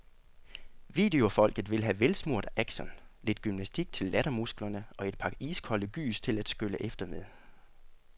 Videofolket vil have velsmurt action, lidt gymnastik til lattermusklerne og et par iskolde gys til at skylle efter med.